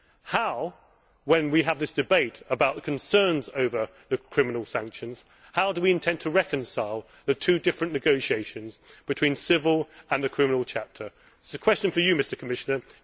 How, when we have this debate about concerns over the criminal sanctions, do we intend to reconcile the two different negotiations between the civil and the criminal chapter? It is a question for you, Mr Commissioner.